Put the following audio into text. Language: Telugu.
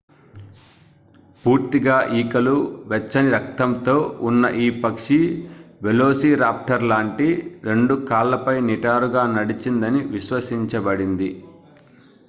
పూర్తిగా ఈకలు వెచ్చని రక్తంతో ఉన్న ఈ పక్షి వెలోసిరాప్టర్ లాంటి రెండు కాళ్లపై నిటారుగా నడిచిందని విశ్వసించబడింది